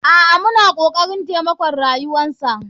A'a muna kokarin taimakon rayuwarsa.